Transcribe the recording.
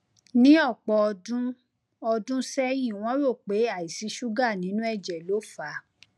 ní ọpọ ọdún ọdún sẹyìn wọn rò pé àìsí ṣúgà nínú ẹjẹ ló fà á